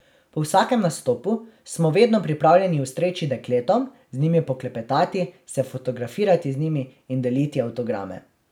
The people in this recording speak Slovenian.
Po vsakem nastopu smo vedno pripravljeni ustreči dekletom, z njimi poklepetati, se fotografirati z njimi in deliti avtograme.